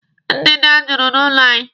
Ndanda juburu n'ụlọ anyị.